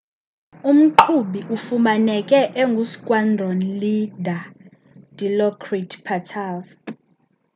umqhubi ufumaneke engu squandron leader dilokrit pattavee